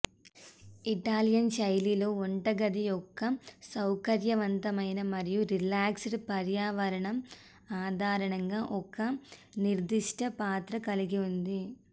Italian శైలి లో వంటగది ఒక సౌకర్యవంతమైన మరియు రిలాక్స్డ్ పర్యావరణం ఆధారంగా ఒక నిర్దిష్ట పాత్ర కలిగి ఉంది